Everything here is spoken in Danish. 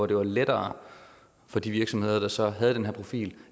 blev lettere for de virksomheder der så havde den her profil